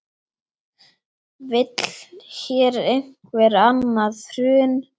Vill hér einhver annað hrun?